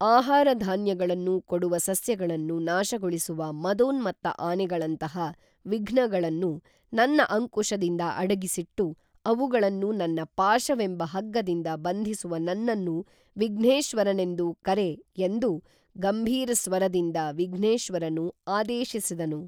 ಆಹಾರಧಾನ್ಯಗಳನ್ನು ಕೊಡುವ ಸಸ್ಯಗಳನ್ನು ನಾಶಗೊಳಿಸುವ ಮದೋನ್ಮತ್ತ ಆನೆಗಳಂತಹ ವಿಘ್ನಗಳನ್ನು ನನ್ನ ಅಂಕುಶದಿಂದ ಅಡಗಿಸಿಟ್ಟು ಅವುಗಳನ್ನು ನನ್ನ ಪಾಶವೆಂಬ ಹಗ್ಗದಿಂದ ಬಂಧಿಸುವ ನನ್ನನ್ನು ವಿಘ್ನೇಶ್ವರನೆಂದು ಕರೆ ಎಂದು ಗಂಭೀರಸ್ವರದಿಂದ ವಿಘ್ನೇಶ್ವರನು ಆದೇಶಿಸಿದನು